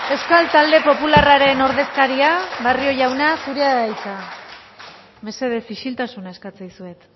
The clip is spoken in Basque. euskal talde popularraren ordezkaria barrio jauna zurea da hitza mesedez isiltasuna eskatzen dizuet